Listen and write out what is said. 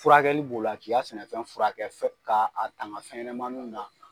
Furakɛli b'o la k'i ka sɛnɛfɛn furakɛ fɛn ka tanga fɛnɲanamannu na